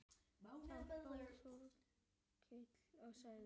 Þá hló Þórkell og sagði